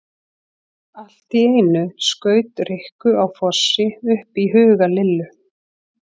Allt í einu skaut Rikku á Fossi upp í huga Lillu.